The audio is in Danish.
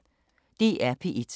DR P1